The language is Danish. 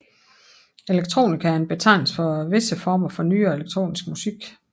Electronica er en betegnelse for visse former for nyere elektronisk musik